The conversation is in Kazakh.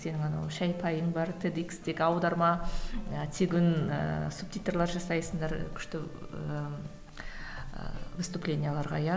сенің анау шай пайың бар т д икстегі аударма і тегін ііі субтитрлер жасайсыңдар күшті ііі выступлениелерге иә